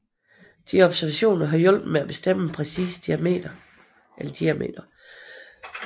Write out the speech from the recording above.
Disse observationer har hjulpet med at bestemme en præcis diameter